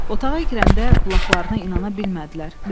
Otağa girəndə qulaqlarına inana bilmədilər.